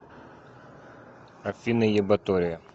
афина ебатория